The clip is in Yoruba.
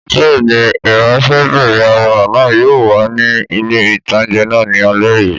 Bẹ́ẹ̀ni, ìránsẹ́bìnrin arẹwà náà yóò wà ní ilé-ìtánjẹ náà ní alé yìí